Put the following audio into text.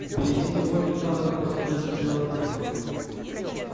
впереди него мелькало какое-то неясное белое пятно